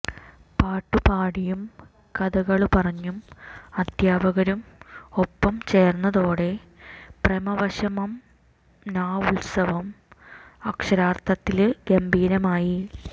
പാട്ടുപാടിയും കഥകള് പറഞ്ഞും അധ്യാപകരും ഒപ്പം ചേര്ന്നതോടെ പ്രമവശമനാത്സവം അക്ഷരാര്ത്ഥത്തില് ഗംഭീരമായി